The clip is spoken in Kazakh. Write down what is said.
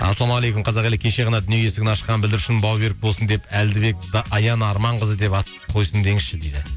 ассалаумағалейкум қазақ елі кеше ғана дүние есігін ашқан бүлдіршін бауы берік болсын деп әлдібек аяна арманқызы деп ат қойсын деңізші дейді